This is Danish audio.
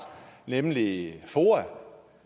nemlig foa